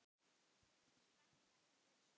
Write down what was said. Er spenna í þessu?